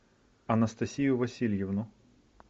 анастасию васильевну